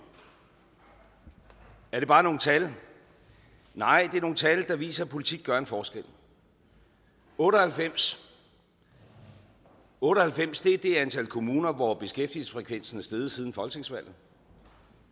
er det bare nogle tal nej det er nogle tal der viser at politik gør en forskel 98 otte og halvfems er det antal kommuner hvor beskæftigelsesfrekvensen er steget siden folketingsvalget